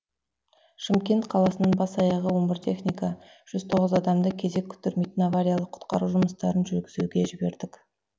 шымкент қаласынан бас аяғы он бір техника жүз тоғыз адамды кезек күттірмейтін авариялық құтқару жұмыстарын жүргізуге жібердік